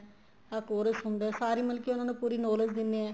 ਆ course ਹੁੰਦਾ ਏ ਸਾਰੀ ਮਤਲਬ ਕੀ ਪੂਰੀ ਉਹਨਾ ਨੂੰ knowledge ਦਿੰਦੇ ਏ